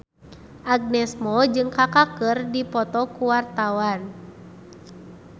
Agnes Mo jeung Kaka keur dipoto ku wartawan